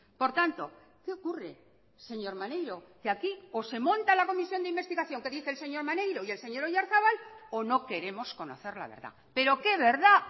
por tanto qué ocurre señor maneiro que aquí o se monta la comisión de investigación que dice el señor maneiro y el señor oyarzabal o no queremos conocer la verdad pero qué verdad